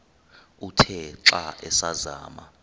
uthe xa asazama